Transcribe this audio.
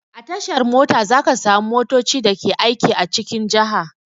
A tashar mota za ka samu motoci da ke aiki a cikin jaha.